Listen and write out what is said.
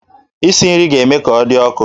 Isi nri ga-eme ka ọ dị ọkụ